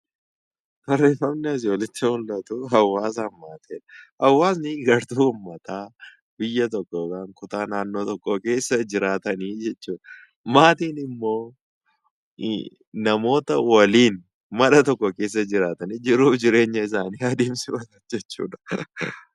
Barreeffamni asii olitti mul'atu hawaasa fi maatii jedha. Hawaasni gartuu uummataa biyya tokko yookaan kutaa naannoo tokkoo keessa jiraatani jechuudha. Maatiin immoo namoota waliin mana tokko keessa jiraatan, jiruu fi jireenya isaanii adeemsifatan jechuudha.